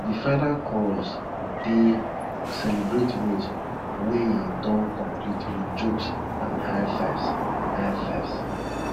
de final chorus dey celebrate rows wey don complete wit jokes and high fives high fives